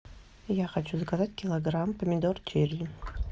я хочу заказать килограмм помидор черри